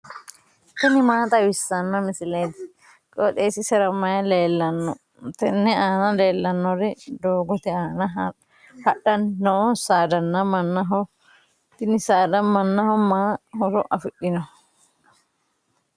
tini maa xawissanno misileeti? qooxeessisera may leellanno? tenne aana leellannori doogote aana hadhanni no saadanna mannaho tini saada mannaho ma horo afidhino?